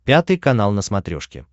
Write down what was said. пятый канал на смотрешке